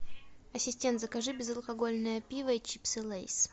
ассистент закажи безалкогольное пиво и чипсы лейс